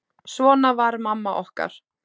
Svona var mamma okkar.